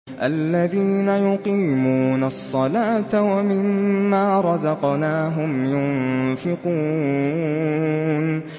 الَّذِينَ يُقِيمُونَ الصَّلَاةَ وَمِمَّا رَزَقْنَاهُمْ يُنفِقُونَ